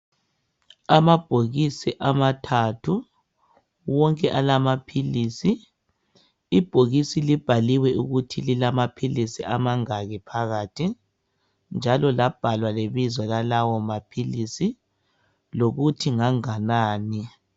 Amabhokisi amathathu wonke alamaphilisi ibhokisi libhaliwe ukuthi lilamaphilisi amangaki phakathi njalo labhalwa lebizo lalawo maphilisi lokuthi nganganani